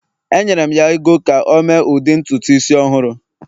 Enyere m ya ego ka o mee ụdị ntutu isi ọhụrụ